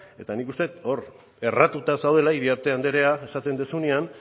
eta nik uste dut hor erratuta zaudela iriarte andrea esaten duzunean